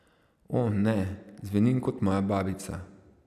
O, ne, zvenim kot moja babica.